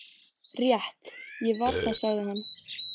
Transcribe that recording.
Rétt, ég var það, sagði hann.